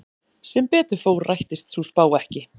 Sem betur fór rættist sú spá ekki.